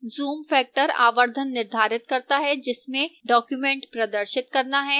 zoom factor आवर्धन निर्धारित करता है जिसमें document प्रदर्शित करना है